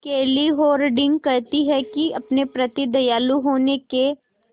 केली हॉर्डिंग कहती हैं कि अपने प्रति दयालु होने के